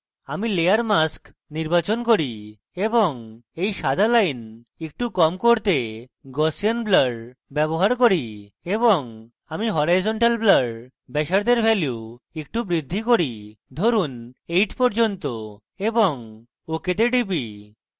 আমি layer mask নির্বাচন করি এবং এই সাদা line একটু কম করতে gaussian blur ব্যবহার করি এবং আমি horizontal blur ব্যাসার্ধের value একটু বৃদ্ধি করি ধরুন 8 পর্যন্ত এবং ok তে টিপি